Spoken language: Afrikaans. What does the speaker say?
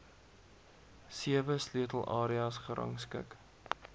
sewe sleutelareas gerangskik